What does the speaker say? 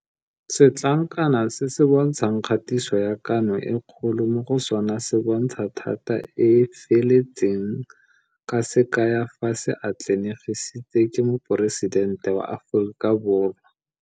Setlankana se se bontshang kgatiso ya Kano e Kgolo mo go sona se bontsha thata e e feletseng ka se kaya fa se atlanegisitswe ke Moporesidente wa Aforika Borwa.